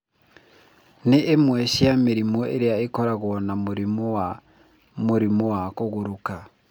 Nĩ imwe cia mĩrimũ ĩrĩa ĩkoragwo na mũrimũ wa mũrimũ wa kũgũrũrũka.